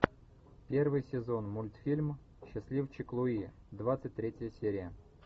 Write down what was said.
первый сезон мультфильм счастливчик луи двадцать третья серия